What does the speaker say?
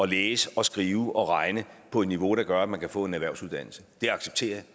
læse og skrive og regne på et niveau der gør at man kan få en erhvervsuddannelse det accepterer